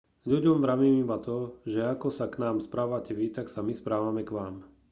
ľuďom vravím iba to že ako sa k nám správate vy tak sa my správame k vám